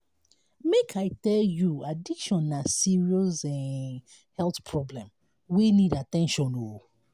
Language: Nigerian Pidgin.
make i tell you addiction na serious um health problem wey need at ten tion. um